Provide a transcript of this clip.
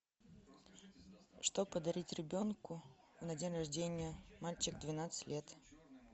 что подарить ребенку на день рождения мальчик двенадцать лет